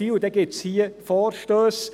Dann gibt es hier Vorstösse.